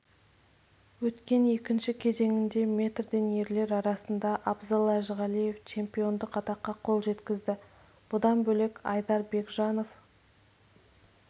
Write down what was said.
өткен екінші кезеңінде метрден ерлер арасында абзал әжіғалиев чемпиондық атаққа қол жеткізді бұдан бөлек айдар бекжанов